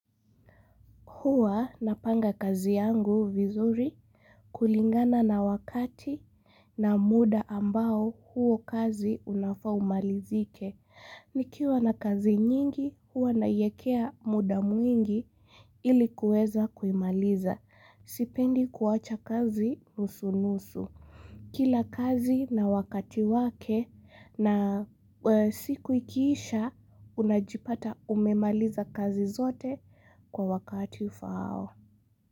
Huwa napanga kazi yangu vizuri kulingana na wakati na muda ambao huo kazi unafa umalizike. Nikiwa na kazi nyingi huwa naiekea muda mwingi ili kuweza kuimaliza. Sipendi kuwacha kazi nusunusu. Kila kazi na wakati wake na siku ikiisha unajipata umemaliza kazi zote kwa wakati ufaao.